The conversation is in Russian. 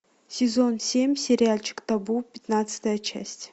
сезон семь сериальчик табу пятнадцатая часть